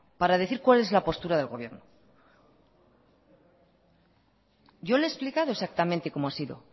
para decir cuál es la postura del gobierno yo le he explicado exactamente cómo ha sido